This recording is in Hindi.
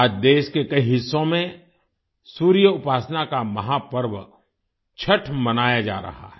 आज देश के कई हिस्सों में सूर्य उपासना का महापर्व छठ मनाया जा रहा है